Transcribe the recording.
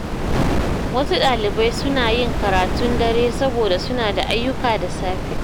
Wasu dalibai suna yin karatun dare saboda suna da ayyuka da safe.